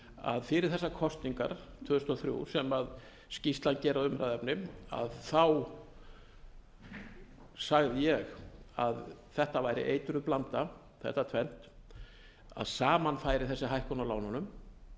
að fyrir þessar kosningar tvö þúsund og þrjú sem skýrslan gerir að umræðuefni sagði ég að þetta væri eiturblanda þetta tvennt að saman færi þessi hækkun á lánunum